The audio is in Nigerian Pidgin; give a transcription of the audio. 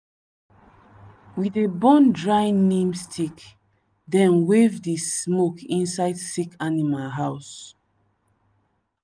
we dey burn dry neem stick then wave the smoke inside sick animal house.